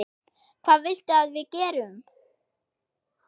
Hvað viltu að við gerum?